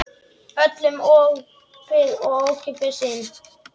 Öllum opið og ókeypis inn.